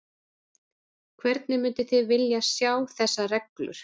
Hvernig mynduð þið vilja sjá þessar reglur?